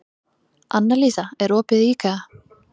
Annalísa, er opið í IKEA?